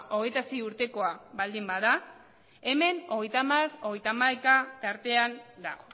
hogeita sei urtekoa baldin bada hemen hogeita hamar hogeita hamaika tartean da